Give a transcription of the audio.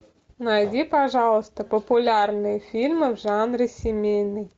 найди пожалуйста популярные фильмы в жанре семейный